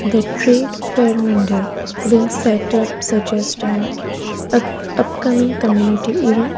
The trade being set up suggest an up upcoming community event.